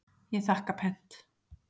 Ég þakka pent.